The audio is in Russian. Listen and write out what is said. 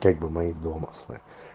как бы мои домыслы